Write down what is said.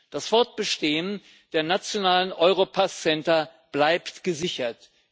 Das Fortbestehen der nationalen Europass Center bleibt gesichert.